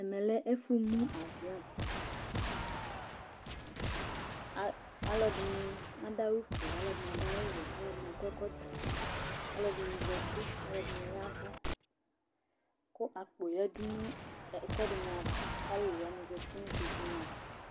Ɛmɛ lɛ ɛfʋmu avɩɔn a alʋɛdɩnɩ adʋ awʋfue, alʋɛdɩnɩ adʋ awʋwɛ, alʋɛdɩnɩ akɔ ɛkɔtɔ, alʋɛdɩnɩ zati, alʋɛdɩnɩ ya ɛvʋ kʋ akpo yǝdu nʋ ɛkʋɛdɩnɩ ava kʋ alʋlʋ wanɩ zati nʋ ikpokunɩ ava